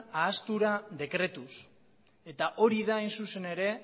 ahaztura dekretuz eta hori da hain zuzen ere